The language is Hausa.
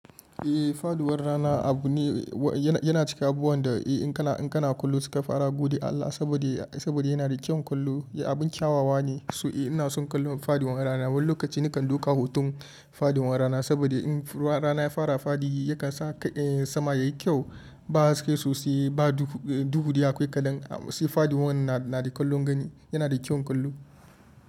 Eh, faduwar rana abu ne yana cika abubuwan da in kana, in kana kallo suka fara gode Allah saboda yana da kyau kallo. Abin kyawawa ne, so ina son kallon faduwar rana. Wani lokaci nikan duka hutun faduwar rana saboda in rana ya fara fadi yakan sa sama yayi kyau ba haske sosai ba. Duhu duhu dai akwai kaɗan sai faduwar na da kallon gani. Yana da kyau kallon.